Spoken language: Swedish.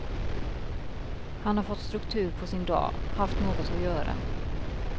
Han har fått struktur på sin dag, haft något att göra.